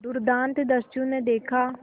दुर्दांत दस्यु ने देखा